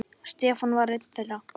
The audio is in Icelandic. Stefán var einn þeirra.